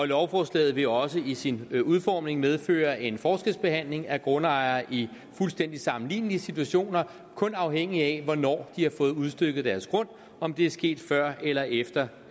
lovforslaget vil også i sin udformning medføre en forskelsbehandling af grundejere i fuldstændig sammenlignelige situationer kun afhængigt af hvornår de har fået udstykket deres grund om det er sket før eller efter